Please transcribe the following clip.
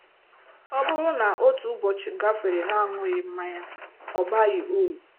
Ọ bụrụ na otu ụbọchị gafere n'aṅụghị mmanya, ọ baghị uru.